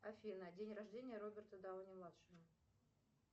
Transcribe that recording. афина день рождения роберта дауни младшего